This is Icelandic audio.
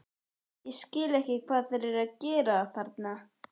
Ég skil bara ekki hvað þeir eru að gera þarna?